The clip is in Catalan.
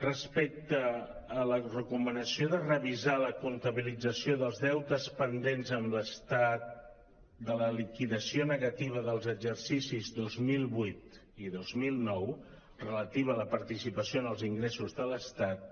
respecte a la recomanació de revisar la comptabilització dels deutes pendents amb l’estat de la liquidació negativa dels exercicis dos mil vuit i dos mil nou relativa a la partici·pació en els ingressos de l’estat